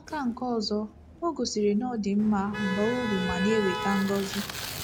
N'aka nke ọzọ, o gosiri na ọ dị mma, baa uru, ma na-eweta ngọzi..